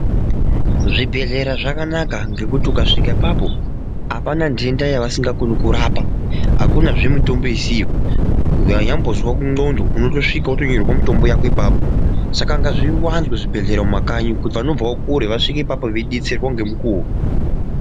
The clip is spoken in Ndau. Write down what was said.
Zvibhedhlera zvakanaka ngekuti ukasvika apapo hapana nhenda yavasinga koni kurapa, hakunazve mitombo isiyo. Vanyambozwa nxdondo unotosvika votonyorerwa mutombo vako ipapo. Saka ngazvivanze zvibhedhlera mumakanyi kuti vanobvavo kure vasvike ipapo veibetserwa ngemukuvo.